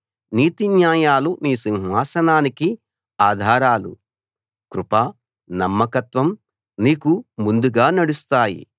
నీతిన్యాయాలు నీ సింహాసనానికి ఆధారాలు కృప నమ్మకత్వం నీకు ముందుగా నడుస్తాయి